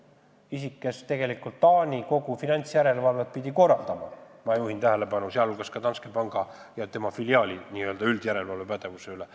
Ja see isik pidi tegelikult korraldama Taani kogu finantsjärelevalvet, sealhulgas, ma juhin tähelepanu, ka Danske panga ja tema filiaali üldise järelevalvevõimekuse üle.